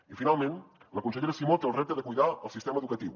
i finalment la consellera simó té el repte de cuidar el sistema educatiu